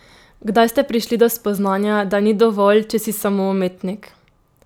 Kdaj ste prišli do spoznanja, da ni dovolj, če si samo umetnik?